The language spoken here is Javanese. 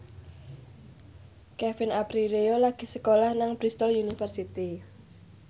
Kevin Aprilio lagi sekolah nang Bristol university